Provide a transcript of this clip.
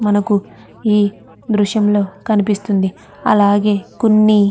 మనకు ఈ దృశ్యం లో కనిపిస్తుంది అలాగే కొన్ని --